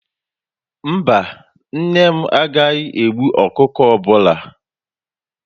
Mba, nne m agaghị egbu ọkụkọ ọbụla